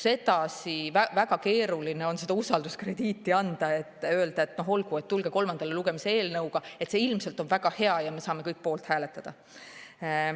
Sedasi on väga keeruline seda usalduskrediiti anda ja öelda, et olgu, tulge kolmandale lugemisele eelnõuga, see ilmselt on väga hea ja me saame kõik poolt hääletada.